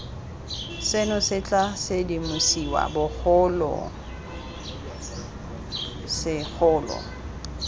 seno se tla sedimosiwa bogolosegolo